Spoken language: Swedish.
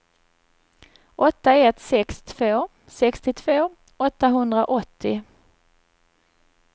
åtta ett sex två sextiotvå åttahundraåttio